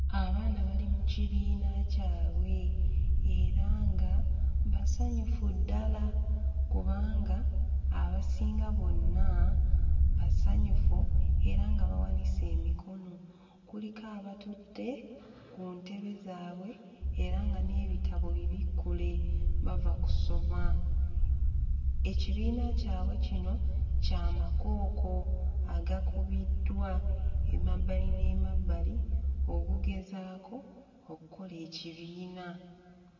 Abaana bali mu kibiina kyabwe era nga basanyufu ddala kubanga abasinga bonna basanyufu era nga bawanise emikono kuliko abatudde ku ntebe zaabwe era nga n'ebitabo bibikkule bava kusoma. Ekibiina kyabwe kino kya makooko agakubiddwa emabbali n'emabbali okugezaako okkola ekibiina.